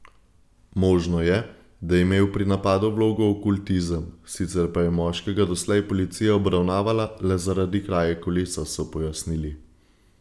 Možno je, da je imel pri napadu vlogo okultizem, sicer pa je moškega doslej policija obravnavala le zaradi kraje kolesa, so pojasnili.